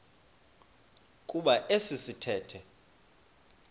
kuba esi sithethe